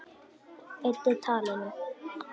Eyddi talinu.